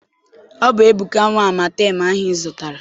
Ọ bụ Ebuka nwe amatem ahụ ị zụtara?